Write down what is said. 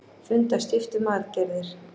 Funda stíft um aðgerðir